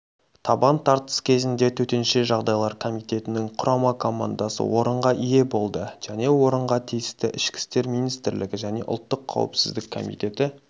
табан тартыс кезінде төтенше жағдайлар комитетінің құрама командасы орынға ие болды және орынға тиісті ішкі істер министрлігі және ұлттық қауіпсіздік комитеті